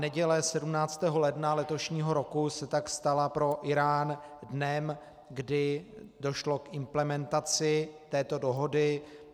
Neděle 17. ledna letošního roku se tak stala pro Írán dnem, kdy došlo k implementaci této dohody.